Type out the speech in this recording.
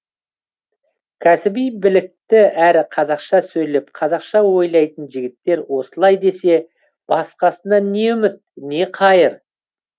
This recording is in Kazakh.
кәсіби білікті әрі қазақша сөйлеп қазақша ойлайтын жігіттер осылай десе басқасынан не үміт не қайыр